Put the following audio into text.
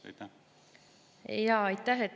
Aitäh!